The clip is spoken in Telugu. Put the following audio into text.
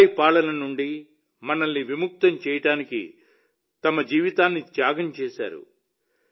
పరాయి పాలన నుండి మనల్ని విముక్తి చేయడానికి తన జీవితాన్ని త్యాగం చేశారు